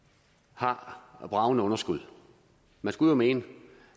har bragende underskud man skulle jo mene